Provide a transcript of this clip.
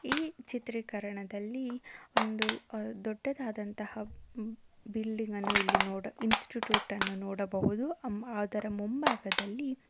ಈ ಚಿತ್ರೀಕರಣದಲ್ಲಿ ಒಂದು ದೊಡ್ಡದಂತಹ ಬಿಲ್ಡಿಂಗ್ ಅನ್ನು ಇಲ್ಲಿ ಇನ್ಸ್ಟಿಟ್ಯೂಟ್ ಅನ್ನು ನೋಡಬಹುದು ಅದರ ಮುಂಭಾಗದಲ್ಲಿ--